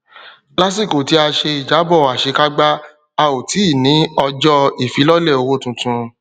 lásìkò tí a ṣe ìjábọ àṣekágbá a ò tí ní ọjọ ifilọlẹ owó titun